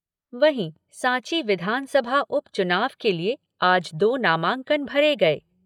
वहीं सांची विधानसभा उपचुनाव के लिए आज दो नामांकन भरे गए।